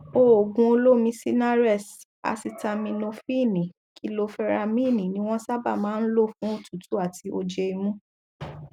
òògùn olómi sinarest asitaminofíìnì kiloferamíìnì ní wọn sábà máa ń lò fún òtútù àti ojé imú